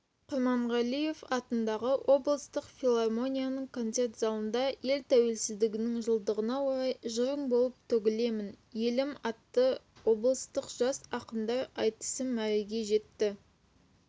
құрманғалиев атындағы облыстық филармонияның концерт залында ел тәуелсіздігінің жылдығына орай жырың болып төгілемін елім атты облыстық жас ақындар айтысы мәреге жетті